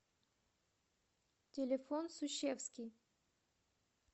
телефон сущевский